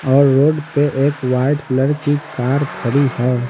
और रोड पे एक वाइट कलर की कार खड़ी है।